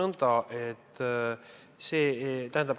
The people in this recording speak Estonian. Ma ütleksin nõnda.